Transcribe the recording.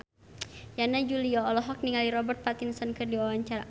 Yana Julio olohok ningali Robert Pattinson keur diwawancara